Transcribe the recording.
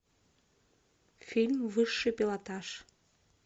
фильм высший пилотаж